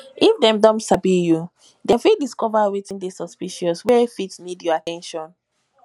if dem don sabi you dem fit discover wetin de suspicious wey fit need your at ten tion